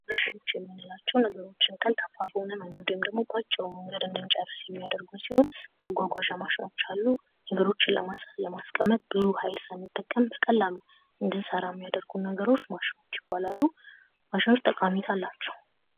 ማሽኖች የምንላቸው ነገርችን ቀልጣፋ በሆነ ወይም ደግሞ በአጭሩ እንድንጨርስ የሚያደርጉን ሲሆን መጓጓዣ ማሽኖች አሉ። ነገሮችን በማስቀመጥ ብዙ ሀይል ሳንጠቀም የሚያደርጉን ነገሮች ማሽኖች ይባላሉ፡፤ ማሽኖች ጠቀሜታ አላቸው።